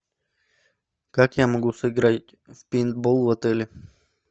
как я могу сыграть в пейнтбол в отеле